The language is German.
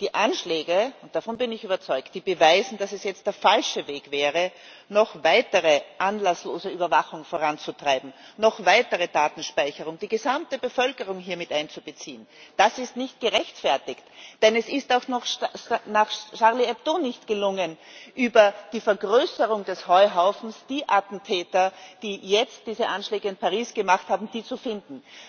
Die Anschläge davon bin ich überzeugt beweisen, dass es jetzt der falsche Weg wäre, noch weitere anlasslose Überwachung voranzutreiben, noch weitere Datenspeicherung. Die gesamte Bevölkerung hier mit einzubeziehen, das ist nicht gerechtfertigt. Denn es ist auch nach Charlie Hebdo nicht gelungen, über die Vergrößerung des Heuhaufens die Attentäter, die jetzt diese Anschläge in Paris gemacht haben, zu finden.